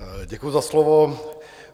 Děkuji za slovo.